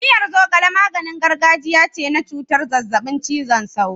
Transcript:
Miyar zogale maganin gargajiya ce na cutar zazzabin cizon sauro.